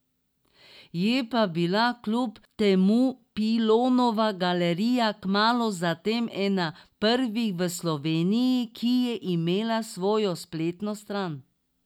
Je pa bila kljub temu Pilonova galerija kmalu zatem ena prvih v Sloveniji, ki je imela svojo spletno stran.